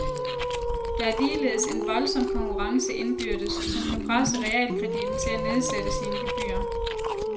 Der er ligeledes en voldsom konkurrence indbyrdes, som kan presse realkreditten til at nedsætte sine gebyrer.